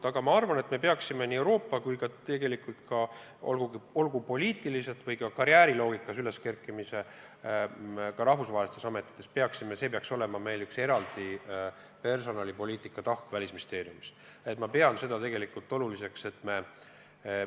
Aga ma arvan, et nii Euroopas kui ka mujal maailmas poliitikas või muul alal rahvusvahelistes ametites karjääri tegemine peaks Välisministeeriumis olema üks eraldi personalipoliitika tahk.